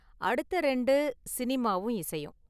அடுத்த ​இரண்டு, சினிமாவும் இசையும்.